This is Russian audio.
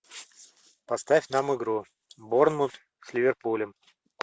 поставь нам игру борнмут с ливерпулем